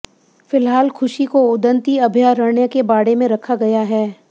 फिलहाल खुशी को उदंती अभयारण्य के बाड़े में रखा गया है